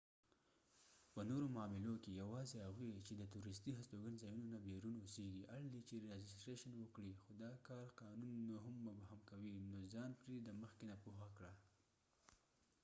په نورو معاملو کې یواځی هغوي چې د تورستی هستوګن ځایونو نه بیرون اوسیږی اړ دي چې راجستریشن وکړي خو دا کار قانون نو هم مبهم کوي نو ځان پری د مخکې نه پوهه کړه